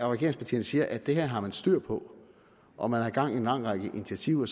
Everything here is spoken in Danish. regeringspartierne siger at det her har man styr på og man har gang i en lang række initiativer